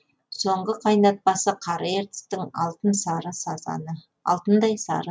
соңғы қайнатпасы қара ертістің алтын сары сазаны